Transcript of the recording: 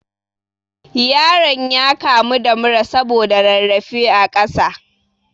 Yaron ya kamu da mura saboda rarrafe a ƙasa